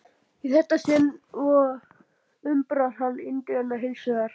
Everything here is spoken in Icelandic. Í þetta sinn umbar hann Indverjann hins vegar.